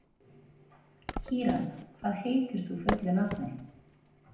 Kíran, hvað heitir þú fullu nafni?